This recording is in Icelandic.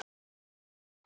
Elsku Sigga okkar!